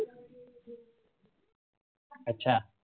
अच्छा